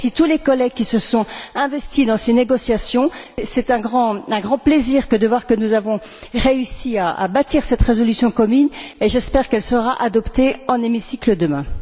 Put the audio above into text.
Je remercie tous les collègues qui se sont investis dans ces négociations. C'est un grand plaisir de voir que nous avons réussi à bâtir cette résolution commune et j'espère qu'elle sera adoptée dans l'hémicycle demain.